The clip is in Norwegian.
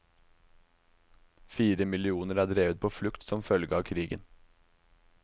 Fire millioner er drevet på flukt som følge av krigen.